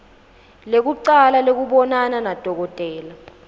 lekucala lekubonana nadokotela